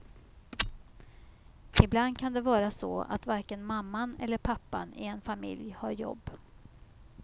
Ibland kan det vara så att varken mamman eller pappan i en familj har jobb.